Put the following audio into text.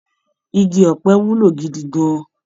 Igi ọ̀pẹ wúlò gidi gan-an.